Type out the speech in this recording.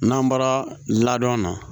N'an bɔra ladon na